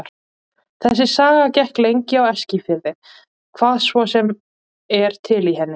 Þessi saga gekk lengi á Eskifirði, hvað svo sem er til í henni.